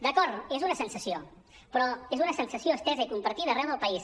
d’acord és una sensació però és una sensació estesa i compartida arreu del país